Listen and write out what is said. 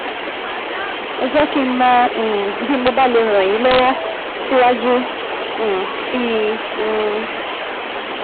Ẹ jẹ́ kí n mọ̀ um bí mo bá lè ràn yín lọ́wọ́ síwájú um sí um i